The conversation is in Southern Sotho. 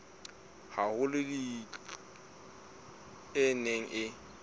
haholo tlhodisanong e neng e